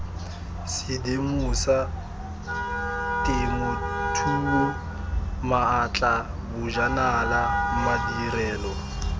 sedimosa temothuo maatla bojanala madirelo